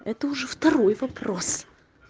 это уже второй вопрос